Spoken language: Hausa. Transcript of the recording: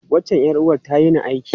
Wancan ’yar’uwar ta yini aiki.